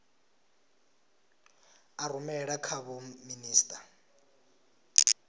a rumela kha vho minisita